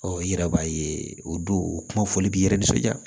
i yɛrɛ b'a ye o don o kuma fɔli b'i yɛrɛ nisɔndiya